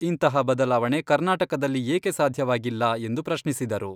ಇಂತಹ ಬದಲಾವಣೆ ಕರ್ನಾಟಕದಲ್ಲಿ ಏಕೆ ಸಾಧ್ಯವಾಗಿಲ್ಲ ಎಂದು ಪ್ರಶ್ನಿಸಿದರು.